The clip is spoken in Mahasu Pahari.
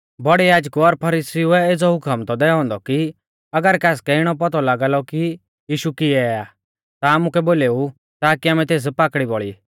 बौड़ै याजकु और फरीसीउऐ एज़ौ हुकम थौ दैऔ औन्दौ कि अगर कासकै इणौ पौतौ लागा लौ कि यीशु किऐ आ ता आमुकै बोलेऊ ताकी आमै तेस पाकड़ी बौल़ी